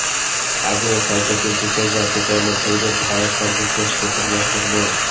আগুনে ক্ষয়ক্ষতির বিষয়ে জানতে চাইলে ভৈরব ফায়ার সার্ভিসের স্টেশন মাস্টার মো